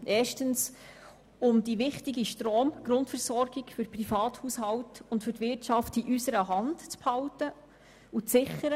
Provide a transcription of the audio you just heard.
Erstens wollen wir damit die wichtige Stromgrundversorgung für Privathaushalte und Wirtschaft in unserer Hand behalten und sichern.